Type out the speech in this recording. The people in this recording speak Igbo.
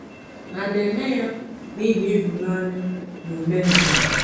Ha na-eme ya n’ihi ịhụnanya n’omenala?